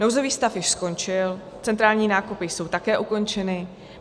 Nouzový stav již skončil, centrální nákupy jsou také ukončeny.